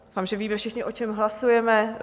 Doufám, že víme všichni, o čem hlasujeme.